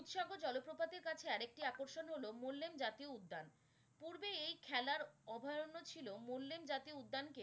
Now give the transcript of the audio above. উৎসর্গ জলপ্রপাতের কাছে আর একটি আকর্ষণ হলো মুল্লেম জাতীয় উদ্যান পূর্বে এই খেলার অভয়ারণ্য ছিল মুল্লেম জাতীয়উদ্দানকে